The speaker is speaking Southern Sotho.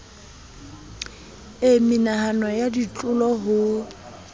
e mehlano ya dilotho ho